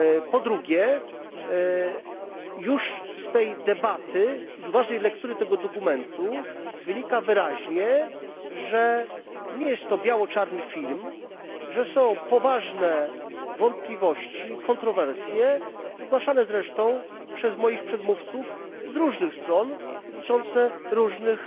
Po drugie, już z tej debaty, z uważnej lektury tego dokumentu wynika wyraźnie, że nie jest to biało czarny film, że są poważne wątpliwości i kontrowersje, zgłaszane zresztą przez moich przedmówców z różnych stron dotyczące różnych